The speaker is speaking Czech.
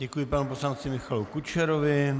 Děkuji panu poslanci Michalu Kučerovi.